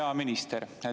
Hea minister!